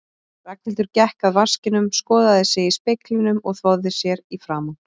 Ragnhildur gekk að vaskinum, skoðaði sig í speglinum og þvoði sér í framan.